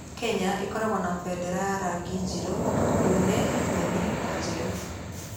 Kenya ĩkoragwo na bendera ya rangi njirũ, ndune, nyeni, na njerũ.